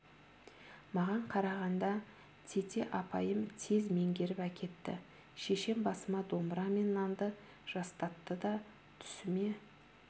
маған қарағанда тете апайым тез меңгеріп әкетті шешем басыма домбыра мен нанды жастатты да түсіме